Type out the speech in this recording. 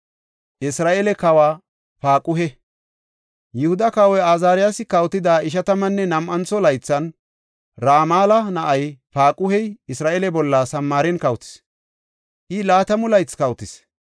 Yihuda Kawoy Azaariyasi kawotida ishatammanne nam7antho laythan, Ramala na7ay Paaquhey Isra7eele bolla Samaaren kawotis; I laatamu laythi kawotis.